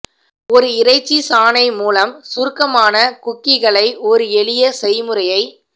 ஒரு இறைச்சி சாணை மூலம் சுருக்கமான குக்கீகளை ஒரு எளிய செய்முறையை